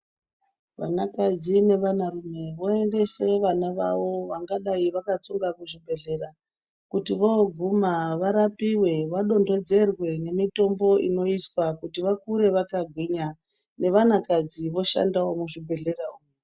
Vana kadzi nevana rume voendese vana vavavo vangadai vakatsonga kuzvibhehlera kuti voguma varapiwe vadondedzerwe nemitombo inoiswa kuti vakure vakagwinya ne vana kadzi voshandawo muzvibhehlera umu.